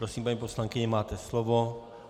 Prosím, paní poslankyně, máte slovo.